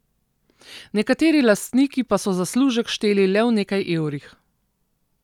Nekateri lastniki pa so zaslužek šteli le v nekaj evrih.